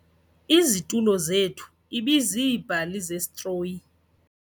Izitulo zethu ibiziibhali zesitroyi.